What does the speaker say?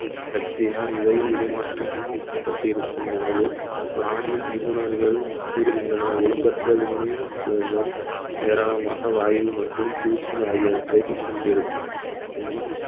சக்தியால் இவை உருமாற்றம் பட்டிருக்கும் எனவே வானியல் நிபுணர்கள் கூறுகின்றனர் ஒழுங்கற்ற விண்மீன் தேடுதல் ஏராளமாக வாயு மற்றும் தூசி ஆகியவற்றை கொண்டிருக்கும்